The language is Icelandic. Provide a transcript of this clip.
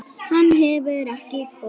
Hann hefur ekki komið.